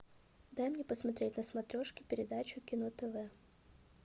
дай мне посмотреть на смотрешке передачу кино тв